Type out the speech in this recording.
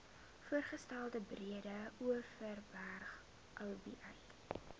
voorgestelde breedeoverberg oba